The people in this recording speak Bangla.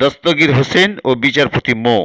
দস্তগীর হোসেন ও বিচারপতি মো